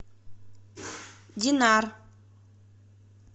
динар